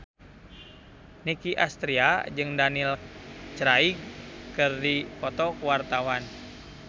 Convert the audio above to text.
Nicky Astria jeung Daniel Craig keur dipoto ku wartawan